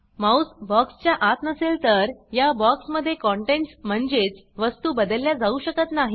mouse बॉक्सच्या आत नसेल तर या बॉक्समध्ये कंटेंट्स म्हणजेच वस्तू बदलल्या जाऊ शकत नाही